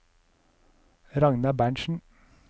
Ragnar Berntsen